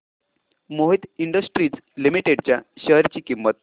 Mohit industries limited च्या share ची किंमत